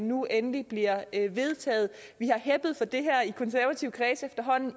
nu endelig bliver vedtaget vi har heppet for det i konservative kredse